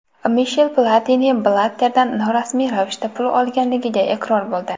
Mishel Platini Blatterdan norasmiy ravishda pul olganligiga iqror bo‘ldi.